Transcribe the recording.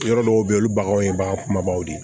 Yɔrɔ dɔw bɛ yen olu baganw ye bagan kumabaw de ye